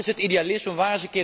Waar is het idealisme?